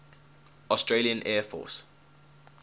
australian air force